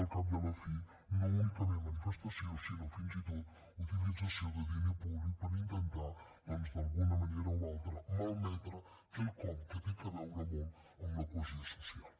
al cap i a la fi no únicament manifestació sinó fins i tot utilització de diner públic per intentar d’alguna manera o altra malmetre quelcom que té a veure molt amb la cohesió social